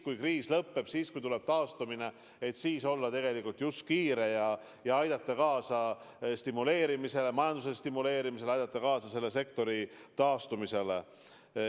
Kui kriis lõpeb, kui algab taastumine, siis tuleb tegelikult olla kiire ja aidata kaasa majanduse stimuleerimisele, aidata kaasa ka selle sektori taastumisele.